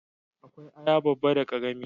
Akwai aya babba da karami